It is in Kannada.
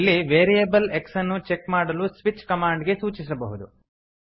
ಇಲ್ಲಿ ವೇರಿಯೇಬಲ್ x ಅನ್ನು ಚೆಕ್ ಮಾಡಲು ಸ್ವಿಚ್ ಕಮಾಂಡ್ ಗೆ ಸೂಚಿಸಬಹುದು